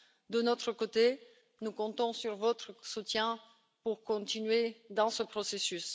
De notre côté, nous comptons sur votre soutien pour continuer dans ce processus.